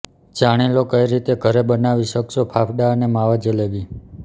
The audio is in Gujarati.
જાણી લો કઈ રીતે ઘરે બનાવી શકશો ફાફડા અને માવા જલેબી